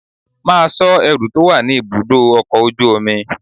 Máa sọ ẹrú tó wà ní ibùdó ọkọ̀ ojú omi!